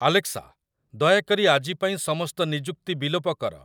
Alexa ଦୟାକରି ଆଜି ପାଇଁ ସମସ୍ତ ନିଯୁକ୍ତି ବିଲୋପ କର